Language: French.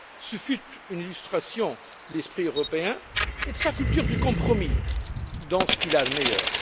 Ce fut une illustration de l'esprit européen et de sa culture du compromis dans ce qu'il a de meilleur.